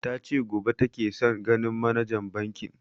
Ta ce gobe take son ganin manajan bankin